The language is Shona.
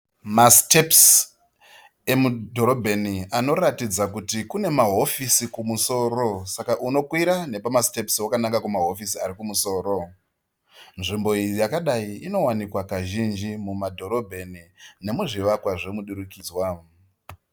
Masitepisi emudhorobheni anoratidza kuti kune mahofisi kumusoro. Saka unokwira nepamasitepisi wakananga kumahofisi ari kumusoro. Nzvimbo iyi yakadai inowanikwa kazhinji mumadhorobheni nemuzvivakwa zvemudurukidzwa.